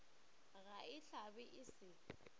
ga e hlabe e se